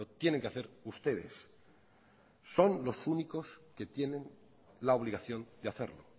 tienen que hacer ustedes son los únicos que tienen la obligación de hacerlo